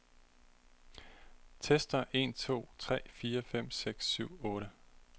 Tester en to tre fire fem seks syv otte.